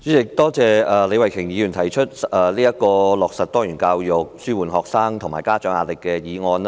主席，多謝李慧琼議員動議"落實多元教育紓緩學生及家長壓力"議案。